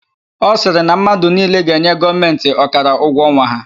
Ọ sịrị na mmadụ niile ga-enye Gọọmentị ọkara ụgwọ ọnwa ha.